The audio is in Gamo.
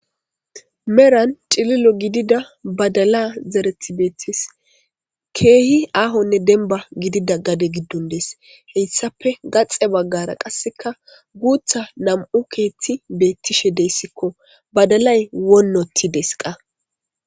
meran cililo gidida badala zareti beettis , keehi aahonne denba gidida gade giddon dees,heyssape gaxe baggara qasseka guutha nam'u keeththi beettishe deyssikko, badalay wonnotides qa